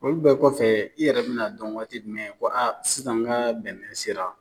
Olu bɛɛ kɔfɛ, i yɛrɛ bina dɔn waati jumɛn, ko sisan n ka bɛnɛ sera ?